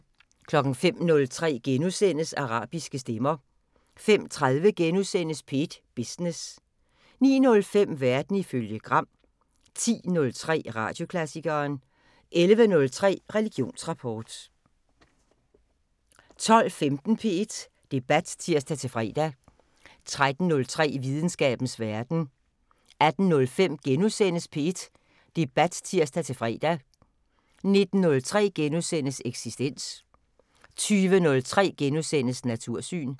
05:03: Arabiske stemmer * 05:30: P1 Business * 09:05: Verden ifølge Gram 10:03: Radioklassikeren 11:03: Religionsrapport 12:15: P1 Debat (tir-fre) 13:03: Videnskabens Verden 18:05: P1 Debat *(tir-fre) 19:03: Eksistens * 20:03: Natursyn *